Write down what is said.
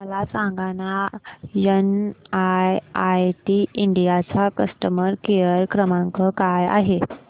मला सांगाना NIIT India चा कस्टमर केअर क्रमांक काय आहे